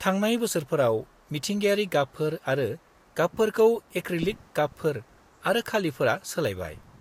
-थांनाय बोसोरफोराव, मिथिंगायारि गाबफोर आरो गाबफोरखौ एक्रिलिक गाबफोर आरो खालिफोरा सोलायबाय।